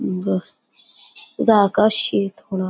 अं बस आकाश शेत होणार.